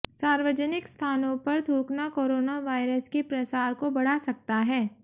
सार्वजनिक स्थानों पर थूकना कोरोना वायरस के प्रसार को बढ़ा सकता है